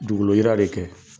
Dugukoloyira de kɛ